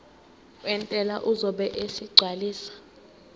wentela uzobe esegcwalisa